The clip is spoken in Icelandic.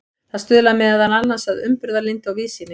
það stuðlar meðal annars að umburðarlyndi og víðsýni